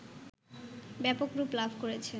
ব্যাপক রূপ লাভ করেছে